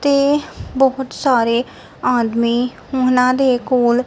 ਤੇ ਬਹੁਤ ਸਾਰੇ ਆਦਮੀ ਉਹਨਾਂ ਦੇ ਕੋਲ--